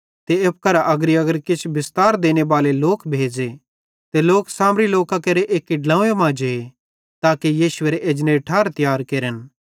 ते एप्पू करां अग्रीअग्री किछ बिस्तार देनेबाले लोक भेज़े ते लोक सामरी लोकां केरे एक्की ड्लोव्वें मां जे ताके यीशु एरे एजनेरी ठार तियारी केरन